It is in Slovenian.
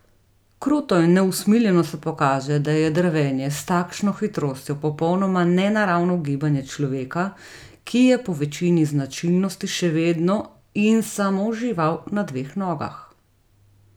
Kruto in neusmiljeno se pokaže, da je drvenje s takšno hitrostjo popolnoma nenaravno gibanje človeka, ki je po večini značilnosti še vedno in samo žival na dveh nogah!